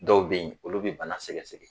Dɔw be yen olu be bana sɛgɛsɛgɛ